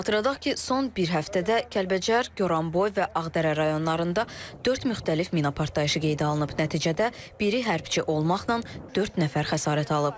Xatırladaq ki, son bir həftədə Kəlbəcər, Goranboy və Ağdərə rayonlarında dörd müxtəlif mina partlayışı qeydə alınıb, nəticədə biri hərbiçi olmaqla dörd nəfər xəsarət alıb.